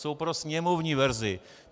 Jsou pro sněmovní verzi.